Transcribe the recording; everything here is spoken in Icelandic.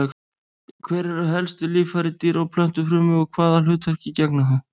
Hver eru helstu líffæri dýra- og plöntufrumu og hvaða hlutverki gegna þau?